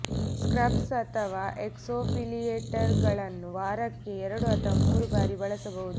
scrubs ಅಥವಾ ಎಕ್ಸ್ಫೊಲಿಯೇಟರ್ಗಳನ್ನು ವಾರಕ್ಕೆ ಎರಡು ಅಥವಾ ಮೂರು ಬಾರಿ ಬಳಸಬಹುದು